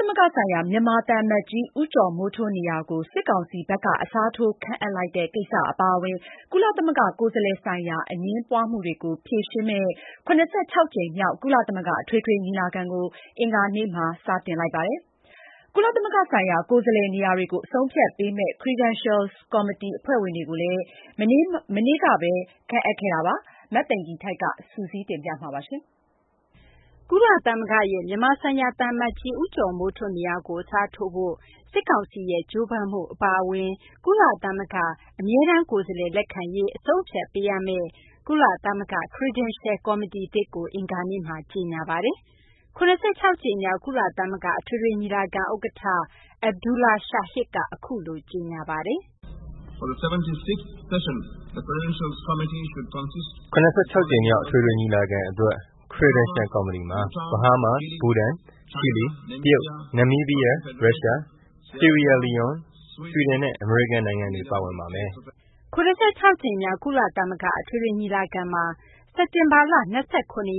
သမဂ္ဂဆိုင်ရာ မြန်မာ သံအမတ်ကြီး ဦးကျော်မိုးထွန်း နေရာကို စစ်ကောင်စီဘက်က အစားထိုး ခန့်အပ်လိုတဲ့ ကိစ္စ အပါအဝင် ကုလသမဂ္ဂ ကိုယ်စားလှယ်ဆိုင်ရာ အငြင်းပွားမှုတွေကို ဖြေရှင်းမယ့် ၇၆ ကြိမ်မြောက် ကုလသမဂ္ဂ အထွေထွေညီလာခံကို အင်္ဂါနေ့မှာ စတင်ပါတယ်။ ကုလသမဂ္ဂ ဆိုင်ရာ ကိုယ်စားလှယ်နေရာတွေကို အဆုံးအဖြတ်ပေးမယ့် Credentials ကော်မတီ အဖွဲ့ဝင်တွေကိုလည်း အင်္ဂါနေ့မှာဘဲ ခန့်အပ်ခဲ့ပါတယ်။ မသိင်္ဂ ီထိုက် စုစည်းတင်ပြပေးမှာပါ။ ကုလသမဂ္ဂရဲ့ မြန်မာဆိုင်ရာ သံအမတ်ကြီး ဦးကျော်မိုးထွန်း နေရာကို အစားထိုးဖို့ စစ်ကောင်စီရဲ့ ကြိုးပမ်းမှု အပါအဝင် ကုလသမဂ္ဂ ကိုယ်စားလှယ် လက်ခံရေး အဆုံးအဖြတ်ပေးရမယ့် ကုလသမဂ္ဂရဲ့ Credentials ကော်မတီသစ်ကို အင်္ဂါနေ့မှာ ကြေညာပါတယ်။ ၇၆ ကြိမ်မြောက် ကုလသမဂ္ဂ အထွေထွေ ညီလာခံ ဥက္ကဌ Abdulla Shahid က အခုလို ကြေညာသွားပါတယ်။ " ၇၆ ကြိမ်မြောက် အထွေထွေ ညီလာခံ အတွက် Credentials ကော်မတီမှာ ဘဟားမား၊ ဘူတန်၊ ချီလီ၊ တရုတ်၊ နမ်မီးဘီးယား၊ ရုရှား၊ ဆီရီယာလီယွန်း၊ ဆွီဒင်နဲ့ အမေရိကန် နိုင်ငံတွေ ပါဝင်ပါမယ်။ " ၇၆ ကြိမ်မြောက် ကုလသမဂ္ဂ အထွေထွေ ညီလာခံမှာ စက်တင်ဘာလ ၂၇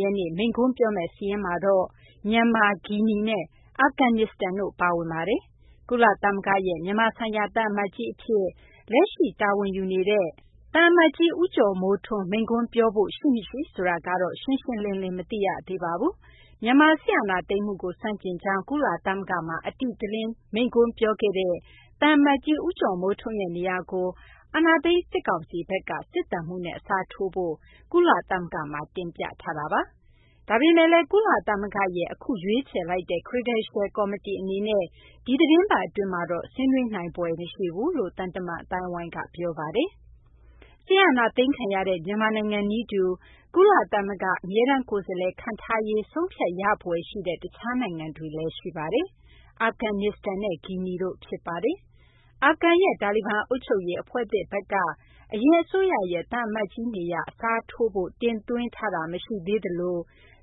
ရက်နေ့ မိန့်ခွန်းပြောမယ့် စာရင်းမှာတော့ မြန်မာ၊ ဂီနီနဲ့ အာဖဂန်နစ္စတန် နိုင်ငံတို့ ပါဝင်ပါတယ်။ ကုလသမဂ္ဂရဲ့ မြန်မာဆိုင်ရာ သံအမတ်ကြီးအဖြစ် လက်ရှိ တာဝန်ယူနေတဲ့ သံအမတ်ကြီး ဦးကျော်မိုးထွန်း မိန့်ခွန်း ပြောဖို့ ရှိမရှိ ဆိုတာကတော့ ရှင်းရှင်းလင်းလင်း မသိရသေးပါဘူး။ မြန်မာ စစ်အာဏာသိမ်းမှုကို ဆန့်ကျင်ကြောင်း ကုလသမဂ္ဂမှာ အတိအလင်း မိန့်ခွန်း ပြောခဲ့တဲ့ သံအမတ်ကြီး ဦးကျော်မိုးထွန်းရဲ့ နေရာကို အာဏာသိမ်း စစ်ကောင်စီဘက်က စစ်သံမှူးနဲ့ အစားထိုးဖို့ ကုလသမဂ္ဂမှာ တင်ပြထားတာပါ။ ဒါပေမယ့်လည်း ကုလသမဂ္ဂရဲ့ အခု ရွေးချယ်လိုက်တဲ့ Credential ကော်မတီ အနေနဲ့ ဒီသီတင်းပတ် အတွင်းမှာတော့ ဆွေးနွေးနိုင်ဖွယ် မရှိဘူးလို့လည်း သံတမန် အသိုင်းအဝိုင်းက ပြောပါတယ်။ စစ်အာဏာသိမ်းခံရတဲ့ မြန်မာနိုင်ငံ နည်းတူ ကုလသမဂ္ဂ အမြဲတမ်း ကိုယ်စားလှယ် ခန့်ထားရေး ဆုံးဖြတ်ရမယ့် တခြားနိုင်ငံတွေလည်း ရှိနေပါတယ်။ အာဖဂန်နဲ့ ဂီနီတို့ ဖြစ်ပါတယ်။ အာဖဂန်ရဲ့ တာလီဘန် အုပ်ချုပ်ရေး အဖွဲ့သစ်ဘက်ကလည်း အရင် အစိုးရရဲ့ သံအမတ်ကြီးရဲ့ နေရာ အစားထိုးဖို့ တင်သွင်းတာ မရှိသေးသလို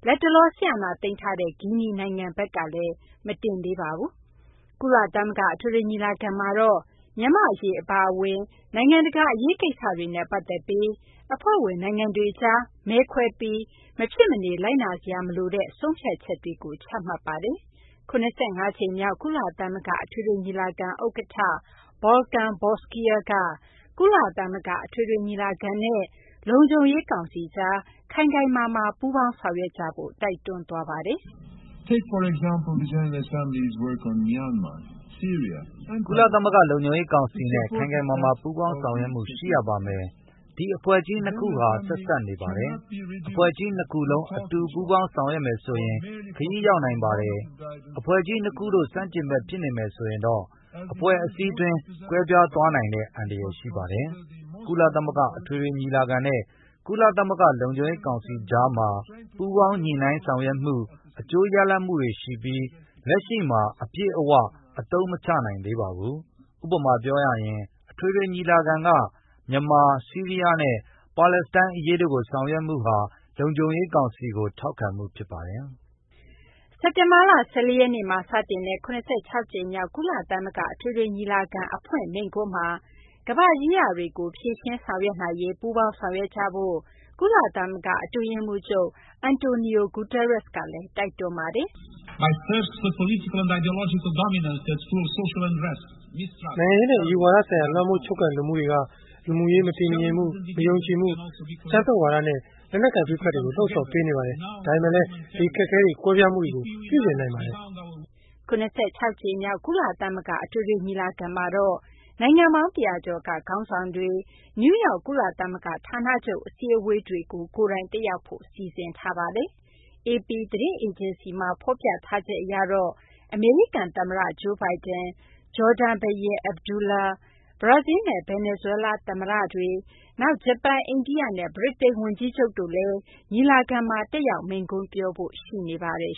လတ်တလော စစ်အာဏာသိမ်းထားတဲ့ ဂီနီ နိုင်ငံဘက်ကလည်း မတင်သေးပါဘူး။ ကုလသမဂ္ဂ အထွေထွေ ညီလာခံကတော့ မြန်မာ့ အရေး အပါအဝင် နိုင်ငံတကာ အရေးကိစ္စတွေနဲ့ ပတ်သက်ပြီး အဖွဲ့ဝင် နိုင်ငံတွေကြား မဲခွဲပြီး မဖြစ်မနေ လိုက်နာစရာ မလိုတဲ့ ဆုံးဖြတ်ချက်တွေ ချမှတ်နေတာပါ။ ၇၅ ကြိမ်မြောက် ကုလသမဂ္ဂ အထွေထွေညီလာခံ ဥက္ကဌ Volkan Bozkia က ကုလသမဂ္ဂ အထွေထွေညီလာခံနဲ့ ကုလသမဂ္ဂ လုံခြုံရေးကောင်စီကြား ခိုင်ခိုင်မာမာ ပူးပေါင်းဆောင်ရွက်ကြဖို့ တိုက်တွန်းသွားပါတယ်။ " ကုလသမဂ္ဂ လုံခြုံရေး ကောင်စီနဲ့ ခိုင်ခိုင်မာမာ ပူးပေါင်းဆောင်ရွက်မှု ရှိရပါမယ်။ ဒီ အဖွဲ့ကြီး နှစ်ခုဟာ ဆက်စပ်နေပါတယ်။ အဖွဲ့ကြီး ၂ ခုလုံး အတူ ပူးပေါင်းဆောင်ရွက်မယ်ဆိုရင် ခရီးရောက်နိုင်ပါတယ်။ အဖွဲ့ကြီး ၂ ခုတို့ ဆန့်ကျင်ဘက် ဖြစ်နေမယ်ဆိုရင်တော့ အဖွဲ့အစည်းတွင်း ကွဲပြားသွားနိုင်တဲ့ အန္တရာယ် ရှိပါတယ်။ ကုလသမဂ္ဂ အထွေထွေ ညီလာခံနဲ့ ကုလသမဂ္ဂ လုံခြုံရေး ကောင်စီကြားမှာ ပူးပေါင်းညှိနှိုင်းဆောင်ရွက်မှု အကျိုးရလဒ်တွေ ရှိပြီး လက်ရှိမှာ အပြည့်အ၀ အသုံးမချနိုင်သေးပါဘူး။ ဥပမာ ပြောရရင် အထွေထွေ ညီလာခံက မြန်မာ၊ ဆီးရီးယားနဲ့ ပါလက်စတိုင်း အရေးတို့ကို ဆောင်ရွက်မှုဟာ လုံခြုံရေးကောင်စီကို ထောက်ခံမှုဖြစ်ပါတယ်။ " စက်တင်ဘာလ ၁၄ ရက်နေ့မှာ စတင်တဲ့ ၇၆ ကြိမ်မြောက် ကုလသမဂ္ဂ အထွေထွေ ညီလာခံ အဖွင့်မိန့်ခွန်းမှာ ကမ ္ဘာ့ ရေးရာတွေကို ဖြေရှင်းဆောင်ရွက်နိုင်ရေး ပူးပေါင်းဆောင်ရွက်ကြဖို့ ကုလသမဂ္ဂ အတွင်းရေးမှူးချုပ် Antonio Guterres ကလည်း တိုက်တွန်းသွားပါတယ်။ " နိုင်ငံရေးနဲ့ အယူဝါဒ ဆိုင်ရာ လွှမ်းမိုးချုပ်ကိုင်လိုမှုတွေက လူမှုရေး မတည်မငြိမ်မှု၊ မယုံကြည်မှု၊ အကြမ်းဖက်ဝါဒနဲ့ လက်နက်ကိုင် ပဋိပက္ခတွေကို လှုံ့ဆော်ပေးနေပါတယ်။ ဒါပေမယ့်လည်း ဒီ အခက်အခဲတွေ၊ ကွဲပြားမှုတွေကို ပြုပြင်နိုင်ပါတယ်။ " ၇၆ ကြိမ်မြောက် ကုလသမဂ္ဂ အထွေထွေ ညီလာခံမှာတော့ နိုင်ငံပေါင်း ၁၀၀ ကျော်က ခေါင်းဆောင်တွေ နယူးယောက် ကုလသမဂ္ဂ ဌာနချုပ် အစည်းအဝေးတွေကို ကိုယ်တိုင် တက်ရောက်ဖို့ စီစဉ်ထားပါတယ်။ AP သတင်းအေဂျင်စီက ဖော်ပြထားချက် အရတော့ အမေရိကန် သမ္မတ Joe Biden၊ ဂျော်ဒန် ဘုရင် Abdullah ၊ ဘရာဇီလ်းနဲ့ ဗင်နီဇွဲလား သမ္မတတွေ၊ နောက် ဂျပန်၊ အိန္ဒိယနဲ့ ဗြိတိန် ဝန်ကြီးချုပ်တို့လည်း ညီလာခံမှာ တက်ရောက် မိန့်ခွန်းပြောဖို့ ရှိနေပါတယ်